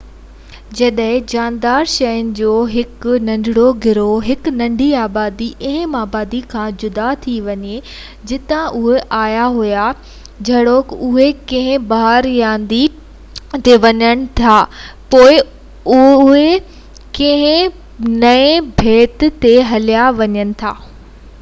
جڏهن جاندار شين جو هڪ ننڍڙو گروه هڪ ننڍي آبادي اهم آبادي کان جدا ٿي وڃي جتان اهي آيا هئا جهڙوڪ اهي ڪنهن پهاڙ يا ندي تي وڃن ٿا يا پوءِ اهي ڪنهن نئين ٻيٽ تي هليا وڃن ٿا تہ جيئن اهي آساني سان واپس نہ اچي سگهن اهي اڪثر پنهنجي پاڻ کي پهرين کان مختلف ماحول ۾ ڏسندا